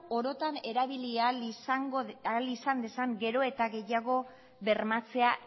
orotan erabili ahal izan dezan gero eta gehiago bermatzea